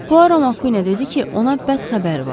Puaro Makə dedi ki, ona bəd xəbər var.